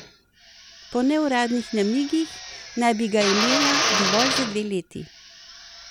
Po neuradnih namigih naj bi ga imela dovolj za dve leti.